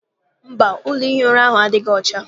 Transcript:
Mba, ụlọ ihi ụra ahụ adịghị ọcha.